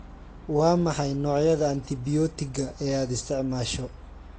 Waa maxay noocyada antibiyootiga ee aad isticmaasho?